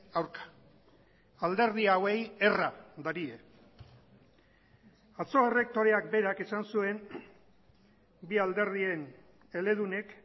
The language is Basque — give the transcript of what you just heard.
aurka alderdi hauei erra darie atzo errektoreak berak esan zuen bi alderdien eledunek